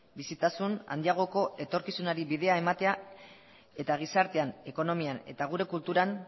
bizitasun handiagoko etorkizunari bidea ematea eta gizartean ekonomian eta gure kulturan